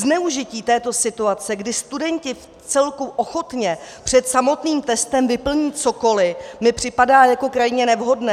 Zneužití této situace, kdy studenti vcelku ochotně před samotným testem vyplní cokoliv, mi připadá jako krajně nevhodné.